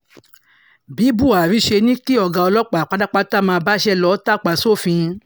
bí buhari ṣe ní kí ọ̀gá ọlọ́pàá pátápátá máa báṣẹ́ lọ tàpá sófin